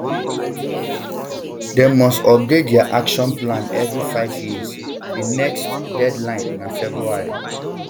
dem must update dia action plans every five years di next deadline na february